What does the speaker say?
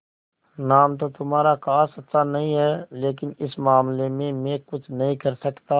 नाम तो तुम्हारा खास अच्छा नहीं है लेकिन इस मामले में मैं कुछ नहीं कर सकता